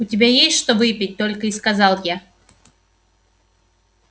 у тебя есть что выпить только и сказал я